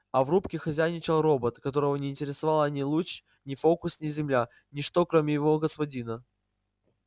а в рубке хозяйничал робот которого не интересовала ни луч ни фокус ни земля ничто кроме его господина